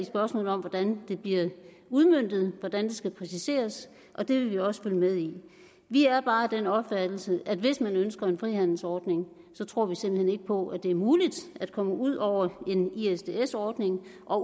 spørgsmålet om hvordan det bliver udmøntet hvordan det skal præciseres og det vil vi også følge med i vi er bare af den opfattelse at hvis man ønsker en frihandelsordning tror vi simpelt hen ikke på at det er muligt at komme ud over en isds ordning og